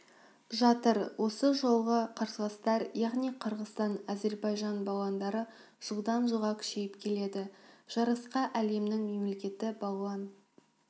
жатыр осы жылғы қарсыластар яғни қырғызстан әзербайжан балуандары жылдан-жылға күшейіп келеді жарысқа әлемнің мемлекеті балуан